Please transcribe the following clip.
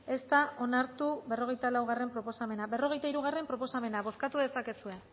ez da onartu berrogeita laugarrena proposamena berrogeita hirugarrena proposamena bozkatu dezakezue